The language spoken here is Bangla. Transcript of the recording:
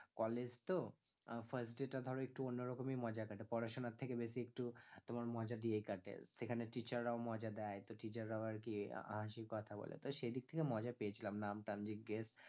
college তো আহ first day তা ধরো একটু অন্যরকমই মজায় কাটে পড়াশোনার থেকে বেশি একটু তোমার মজা দিয়েই কাটে সেখানে teacher রাও মজা দেয় তো teacher রাও আরকি আহ হাঁসির কথা বলে, তো সেদিক থেকে মজা পেয়েছিলাম নাম টাম জিজ্ঞেস